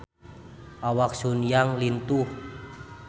Awak Sun Yang lintuh